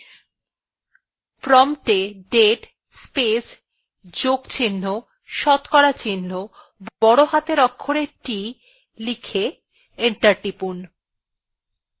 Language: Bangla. prompt এ date space যোগ চিহ্ন শতকরা চিহ্ন বড় হাতের অক্ষরে t লিখে enter টিপুন